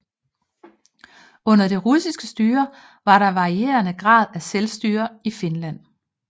Under det russiske styre var der varierende grad af selvstyre i Finland